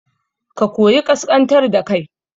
Ka koyi ƙasƙantar da kai